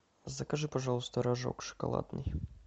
закажи пожалуйста рожок шоколадный